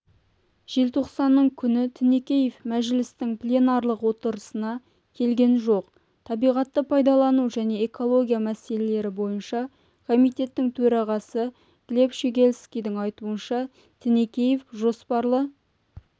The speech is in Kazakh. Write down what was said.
желтоқсанның күні тінікеев мәжілістің пленарлық отырысына келген жоқ табиғатты пайдалану және экология мәселелері бойынша комитеттің төрағасы глеб щегельскийдің айтуынша тінікеев жоспарлы